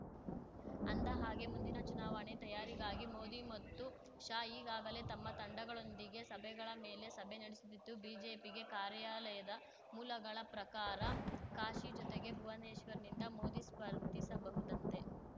ಅಂದ ಹಾಗೆ ಮುಂದಿನ ಚುನಾವಣೆ ತಯಾರಿಗಾಗಿ ಮೋದಿ ಮತ್ತು ಶಾ ಈಗಾಗಲೇ ತಮ್ಮ ತಂಡಗಳೊಂದಿಗೆ ಸಭೆಗಳ ಮೇಲೆ ಸಭೆ ನಡೆಸುತ್ತಿದ್ದು ಬಿಜೆಪಿಗೆ ಕಾರ್ಯಾಲಯದ ಮೂಲಗಳ ಪ್ರಕಾರ ಕಾಶಿ ಜೊತೆಗೆ ಭುವನೇಶ್ವರ್‌ನಿಂದ ಮೋದಿ ಸ್ಪರ್ಧಿಸಬಹುದಂತೆ